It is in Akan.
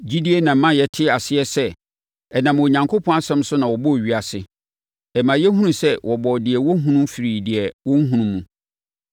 Gyidie na ɛma yɛte aseɛ sɛ ɛnam Onyankopɔn asɛm so na wɔbɔɔ ewiase. Ɛma yɛhunu sɛ wɔbɔɔ deɛ wɔhunu firii deɛ wɔnnhunu mu.